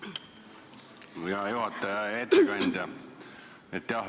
Hea juhataja, hea ettekandja!